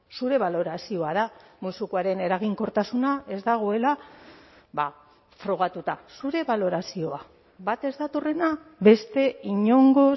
zure balorazioa da musukoaren eraginkortasuna ez dagoela frogatuta zure balorazioa bat ez datorrena beste inongo